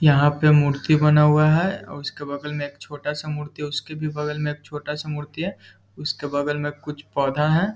यहाँ पे मूर्ति बना हुआ है। उसके बगल में एक छोटा सा मूर्ति है। उसके भी बगल में एक छोटा सा मूर्ति है। उसके बगल में कुछ पौधा है।